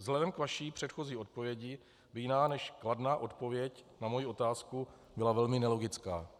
Vzhledem k vaší předchozí odpovědi by jiná než kladná odpověď na moji otázku byla velmi nelogická.